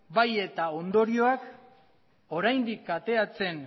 eta bai ondorioak oraindik kateatzen